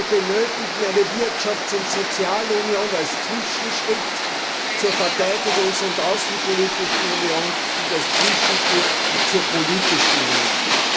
Wir benötigen eine Wirtschafts und Sozialunion als Zwischenschritt zur Verteidigungs und außenpolitischen Union und als Zwischenschritt zur politischen Union.